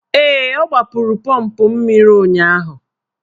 Ee, ọ gbapụrụ pọmpụ mmiri ụnyaahụ.